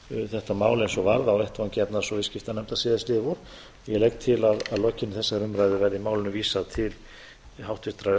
þetta mál eins og varð á vettvangi efnahags og viðskiptanefndar síðastliðið vor og ég legg til að að lokinni þessari umræðu verði málinu vísað til háttvirtrar